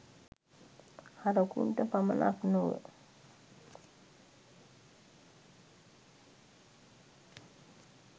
හරකුන්ට පමණක් නොව